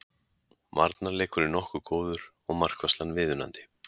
Varnarleikurinn nokkuð góður og markvarslan viðunandi